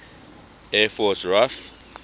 air force raaf